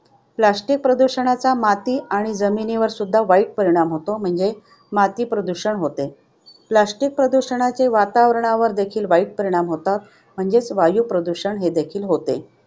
Plastic प्रदूषणाचा माती आणि जमिनीवर सुद्धा वाईट परिणाम होतो. म्हणजे माती प्रदूषण होते. Plastic प्रदूषणाचे वातावरणावर देखील वाईट परिणाम होतात. म्हणजे वायू प्रदूषण होते.